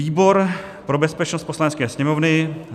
Výbor pro bezpečnost Poslanecké sněmovny